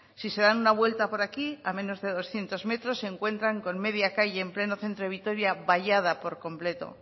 si se dan una vuelta por aquí a menos de doscientos metros se encuentran con media calle en pleno centro de vitoria vallada por completo